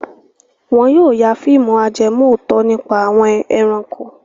Wọn yóò ya fíìmù ajẹmòótọ́ nípa àwọn ẹranko.